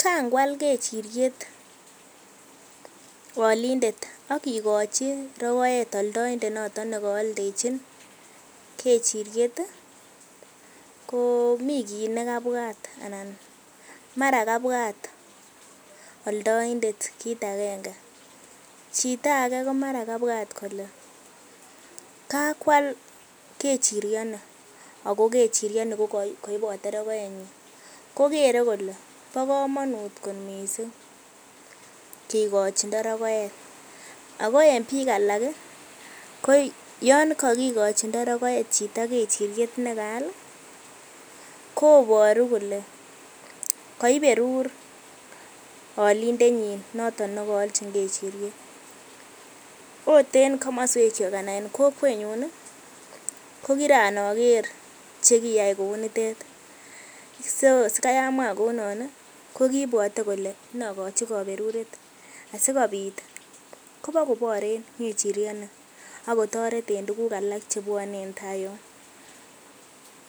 Kangwal kechiriet olindet okikochi rokoet oldoindet noton nekooldechin kechiriet ko mii kiit nekabwat anan mara kabwat oldointet kiit akenge, chito akee komara kabwat kolee kakwal kechirioni ak ko kechirioni ko koibote rokoenyin, ko keree kolee bokomonut kot mising kikochindo rokoet, ak ko en biik alak ko yoon kokikochindo rokoet chito rokoet kechiriet nekaal koboru kolee koberur olindenyin noton nekoolchin kechiriet oot en komoswekyuk anan kokwenyun kokiran oker chekiyai kounitet, so sikai amwaa kounoniton ko kibwote kolee nokochi koberuret asikobit ibokoboren ngechirioni ak kotoret en tukuk alak chepwone en taa yoon,